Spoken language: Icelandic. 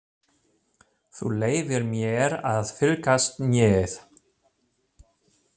Þú leyfir mér að fylgjast með.